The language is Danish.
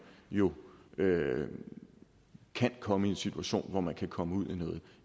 jo kan komme i en situation hvor man kan komme ud